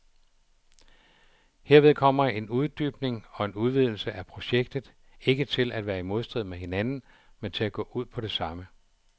Herved kommer en uddybning og en udvidelse af projektet ikke til at være i modstrid med hinanden, men til at gå ud på det samme.